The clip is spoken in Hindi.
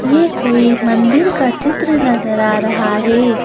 ये कोई मंदिर का चित्र नजर आ रहा है।